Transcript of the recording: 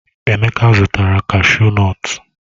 Emeka zụtara kashu nọtu.